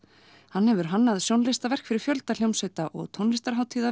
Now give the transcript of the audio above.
hann hefur hannað sjónlistaverk fyrir fjölda hljómsveita og tónlistarhátíða